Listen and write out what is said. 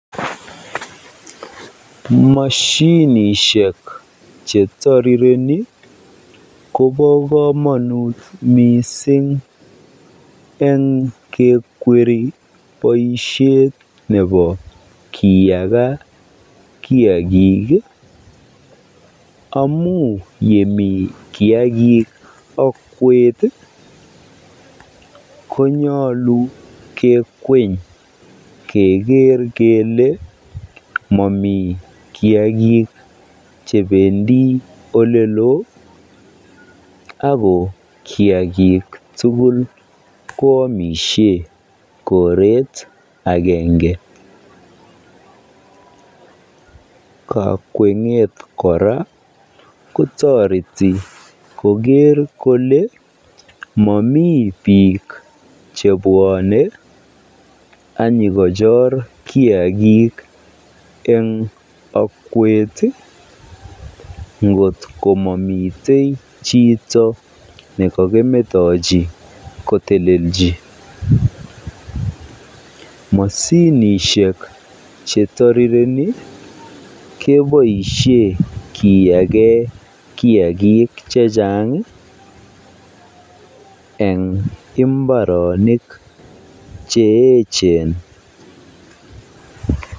Moshinishek chetirireni kobokomonut mising eng kekweri boishet nebo kiyakaa kiakik amun yemii kiakik okwet konyolu kikweny keker kelee momii kiakik chebendi oleloo ak ko kiakik tukul ko amishen koret akenge, kakwenget kora ko toreti koker kolee momii biik chebwone ak inyokochor kiakik eng okwet ngot komomitei chito nekokimetochi kotelelchi moshinishek chetirireni keboishen kiyaken kiakik chechang eng imbaronik che echen.